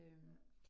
Ja